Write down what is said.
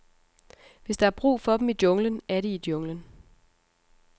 Hvis der er brug for dem i junglen, er de i junglen.